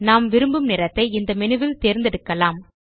நாம் விரும்பும் நிறத்தை இந்த மேனு ல் தேர்ந்தெடுக்கலாம்